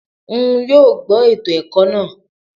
N yoo gbọ eto ẹkọ naa